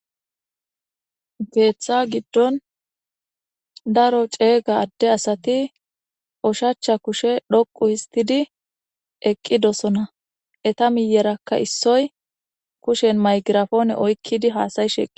Keththa giddon daro ceega adde asati oshachcha kushe dhoqu histidi eqqidosona eta miyerakka issoy kushen maygirafoone oykkidi haasa'ishe